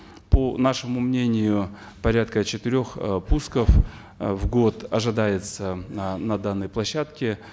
по нашему мнению порядка четырех э пусков э в год ожидается э на данной площадке